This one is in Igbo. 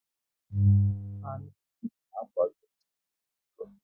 Amị trupu na-akwado ị chechi ndị iro